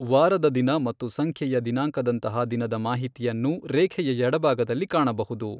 ವಾರದ ದಿನ ಮತ್ತು ಸಂಖ್ಯೆಯ ದಿನಾಂಕದಂತಹ ದಿನದ ಮಾಹಿತಿಯನ್ನು ರೇಖೆಯ ಎಡಭಾಗದಲ್ಲಿ ಕಾಣಬಹುದು.